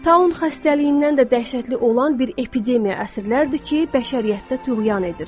Taun xəstəliyindən də dəhşətli olan bir epidemiya əsrlərdir ki, bəşəriyyətdə tüğyan edir.